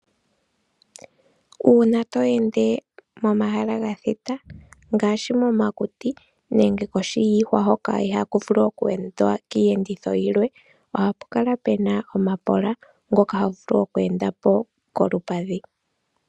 Uuna to ende momahala gathita ngaashi momakuti nenge koshi yiihwa hoka ihaku vulu oku endwa kiiyenditho yilwe, ohapu kala pena omapola ngoka havulu oku enda po kolupadhi.